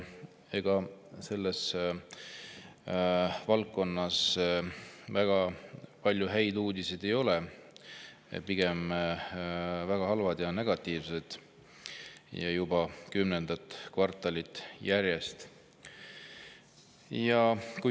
Ega selles valdkonnas väga palju häid uudiseid ei ole, pigem väga halvad ja negatiivsed, ja juba kümnendat kvartalit järjest.